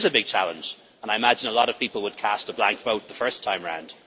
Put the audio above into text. It is a big challenge and I imagine a lot of people would cast a blank vote the first time round.